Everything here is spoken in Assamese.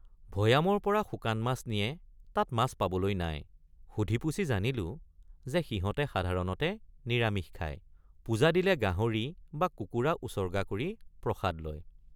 ভৈয়ামৰপৰা শুকান মাছ নিয়ে তাত মাছ পাবলৈ নাই ৷ সুধিপুছি জানিলে৷ যে সিহঁতে সাধাৰণতে নিৰামিষ খায় ৷ পূজা দিলে গাহৰি বা কুকুৰ৷ উছৰ্গ৷ কৰি প্ৰসাদ লয়।